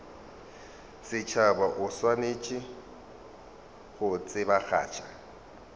setšhaba o swanetše go tsebagatša